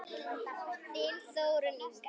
Þín Þórunn Inga.